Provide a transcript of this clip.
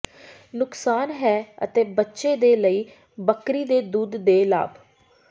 ਨੁਕਸਾਨ ਹੈ ਅਤੇ ਬੱਚੇ ਦੇ ਲਈ ਬੱਕਰੀ ਦੇ ਦੁੱਧ ਦੇ ਲਾਭ